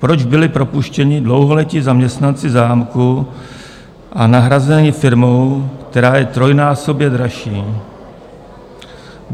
Proč byli propuštěni dlouholetí zaměstnanci zámku a nahrazeni firmou, která je trojnásobně dražší?